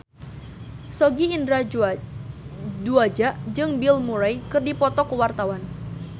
Sogi Indra Duaja jeung Bill Murray keur dipoto ku wartawan